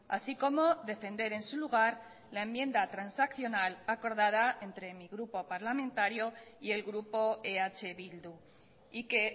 así como defender en su lugar la enmienda transaccional acordada entre mi grupo parlamentario y el grupo eh bildu y que